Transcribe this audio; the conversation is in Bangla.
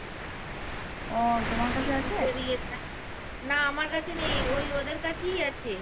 না আমার কাছে নেই ওই ওদের কাছেই আছে।